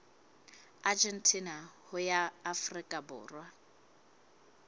argentina ho ya afrika borwa